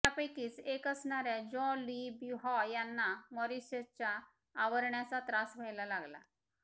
यापैकीच एक असणाऱ्या Jean Louis बिहाँ यांना मॉरिसच्या आरवण्याचा त्रास व्हायला लागला